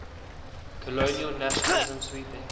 colonial nationalism sweeping